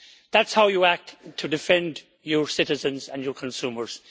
That is how you act to defend your citizens and your consumers.